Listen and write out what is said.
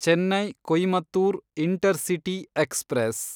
Chennai Coimbatore intercity express